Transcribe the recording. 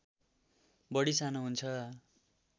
बढी सानो हुन्छ